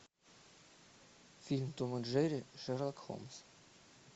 фильм том и джерри шерлок холмс